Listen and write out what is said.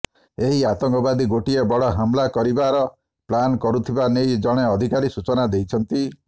ଏହି ଆତଙ୍କବାଦୀ ଗୋଟିଏ ବଡ଼ ହମଲା କରିବାର ପ୍ଲାନ କରୁଥିବା ନେଇ ଜଣେ ଅଧିକାରୀ ସୂଚନା ଦେଇଛନ୍ତି